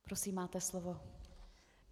Prosím, máte slovo.